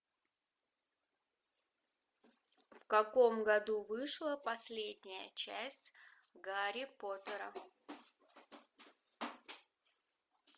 в каком году вышла последняя часть гарри поттера